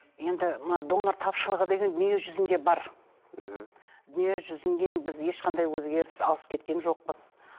енді мына донор тапшылығы деген дүние жүзінде бар мхм дүние біз ешқандай өзгеріс алыс кеткен жоқпыз